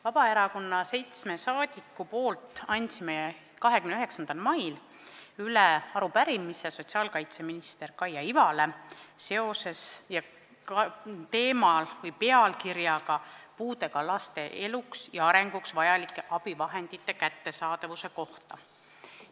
Vabaerakonna fraktsiooni seitse liiget andsid 29. mail üle arupärimise sotsiaalkaitseminister Kaia Ivale pealkirjaga "Puudega lastele eluks ja arenguks vajalike abivahendite kättesaadavuse kohta.